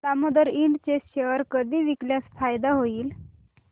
Damodar Ind चे share कधी विकल्यास फायदा होईल